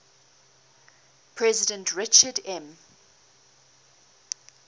president richard m